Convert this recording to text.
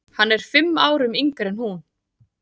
Hann er fimm árum yngri en hún.